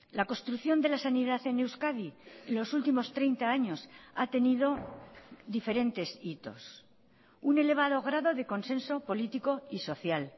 la construcción de la sanidad en euskadi en los últimos treinta años ha tenido diferentes hitos un elevado grado de consenso político y social